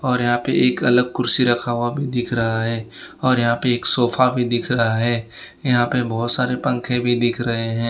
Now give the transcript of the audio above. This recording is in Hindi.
और यहां पे एक अलग कुर्सी रखा हुआ भी दिख रहा है और यहां पे एक सोफा भी दिख रहा है यहां पे बहोत सारे पंखे भी दिख रहे है।